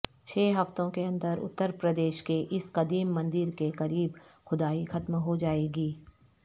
چھ ہفتوں کے اندر اترپردیش کے اس قدیم مندر کے قریب کھدائی ختم ہوجائے گی